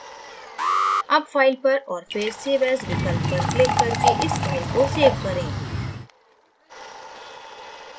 as file पर और फिर save as विकल्प पर क्लिक करके इस file को सेव करें